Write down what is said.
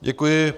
Děkuji.